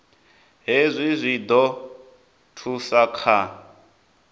hezwi zwi ḓo thusa kha